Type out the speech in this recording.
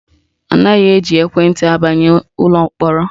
Anaghị eji ekwenti abanye ụlọ mkpọrọ